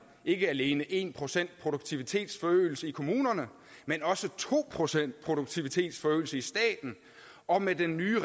ikke alene en procent produktivitetsforøgelse i kommunerne men også to procent produktivitetsforøgelse i staten og med den nye